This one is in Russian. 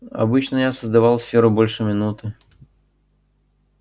обычно я создавал сферу больше минуты